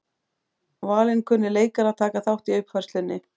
Valinkunnir leikarar taka þátt í uppfærslunni